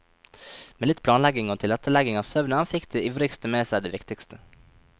Med litt planlegging og tilrettelegging av søvnen fikk de ivrigste med seg det viktigste.